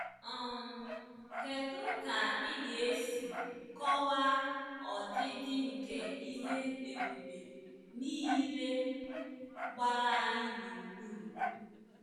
um Kedu ka ị ga-esi kọwaa ọdịdị nke ihe ebube niile gbara anyị gburugburu?